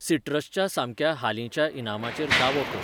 सिट्रसच्या सामक्या हालींच्या इनामाचेर दावो कर.